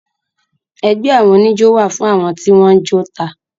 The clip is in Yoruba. Ẹgbé àwọn oníjó wà fún àwọn tí wọ́n jó tà.